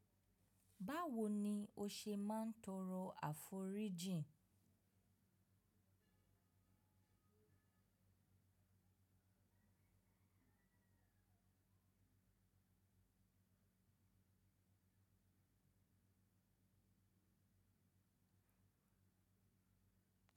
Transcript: Báwo ni o ṣe máa ń tọrọ àforíjìn?